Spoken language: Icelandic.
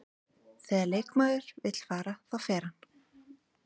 Þegar leikmaður vill fara, þá fer hann.